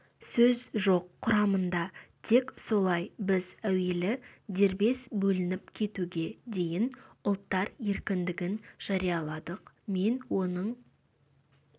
сөз жоқ құрамында тек солай біз әуелі дербес бөлініп кетуге дейін ұлттар еркіндігін жарияладық мен оның